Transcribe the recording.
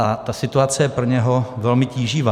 A ta situace je pro něj velmi tíživá.